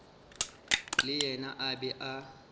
le yena a be a